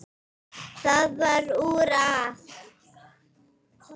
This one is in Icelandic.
Það varð úr að